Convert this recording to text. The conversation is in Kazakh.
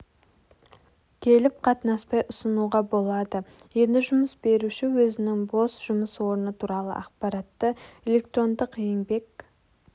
келіп қатынаспай ұсынуға болады енді жұмыс беруші өзінің бос жұмыс орны туралы ақпаратты электрондық еңбек